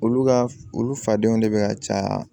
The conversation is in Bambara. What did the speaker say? Olu ka olu fadenw de bɛ ka caya